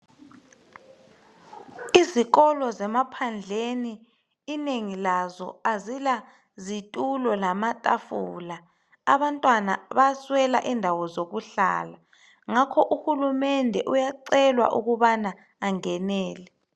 Izikolo zemaphandleni inengi lazo azila zitulo lamatafula abantwana bayaswela indawo zokuhlala ngakho uhulumende uyacelwa ukubana angenele.